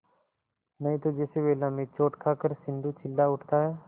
नहीं तो जैसे वेला में चोट खाकर सिंधु चिल्ला उठता है